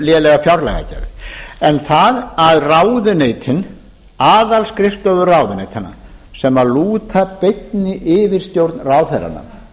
lélega fjárlagagerð en það að ráðuneytin aðalskrifstofur ráðuneytanna sem lúta beinni yfirstjórn ráðherranna